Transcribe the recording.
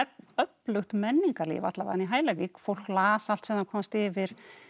öflugt menningarlíf alla vegana í Hælavík fólk las allt sem það komst yfir